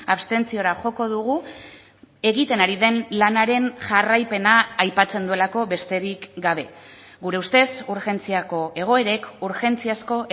abstentziora joko dugu egiten ari den lanaren jarraipena aipatzen duelako besterik gabe gure ustez urgentziako egoerek urgentziazko